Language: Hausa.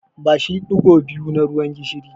Bashi ɗigo biyu na ruwan gishiri.